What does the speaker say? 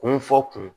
Kun fɔ kun